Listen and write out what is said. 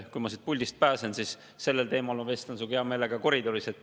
Kui ma siit puldist pääsen, siis vestlen sellel teemal sinuga hea meelega koridoris.